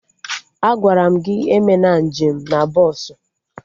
Agwaram gị emena nje m na bọsụ!